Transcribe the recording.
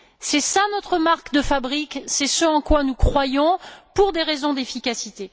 C'est notre marque de fabrique et ce en quoi nous croyons pour des raisons d'efficacité.